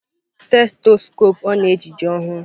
Stethọskopụ ọ na-eji dị ọhụrụ.